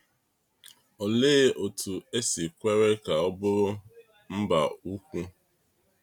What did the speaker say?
Olee otú e si kwere ka ọ bụrụ “mba ukwu”?